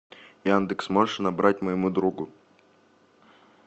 яндекс можешь набрать моему другу